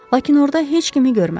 Lakin orada heç kimi görmədi.